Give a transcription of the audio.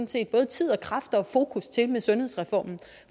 set både tid og kræfter og fokus til med sundhedsreformen